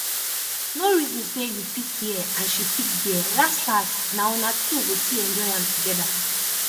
no reason say you pick here and she pick there las las na una two go still enjoy am together